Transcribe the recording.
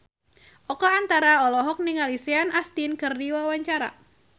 Oka Antara olohok ningali Sean Astin keur diwawancara